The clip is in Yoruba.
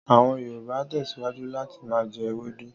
Àwọn Yòrùbà tẹ́síwájú láti ma jẹ́ ewédú.